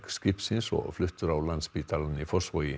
skipsins og fluttur á Landspítalann í Fossvogi